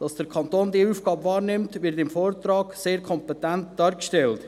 Dass der Kanton diese Aufgabe wahrnimmt, wird im Vortrag sehr kompetent dargestellt.